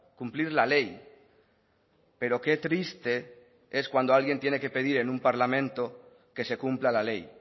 cumplir la ley pero qué triste es cuando alguien tiene que pedir en un parlamento que se cumpla la ley